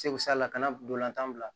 Segu sa la ka na ntolantan bila